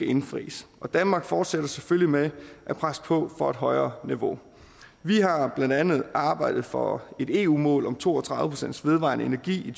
indfries og danmark fortsætter selvfølgelig med at presse på for et højere niveau vi har blandt andet arbejdet for et eu mål om to og tredive procent vedvarende energi i